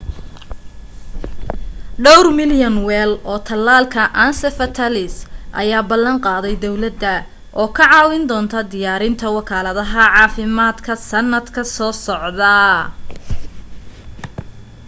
dhawr milyan weel oo talaalka encephalitis ayee ballan qaaday dawladda oo ka caawin doonto diyaarinta wakaaladaha caafimaadka sanadka soo socda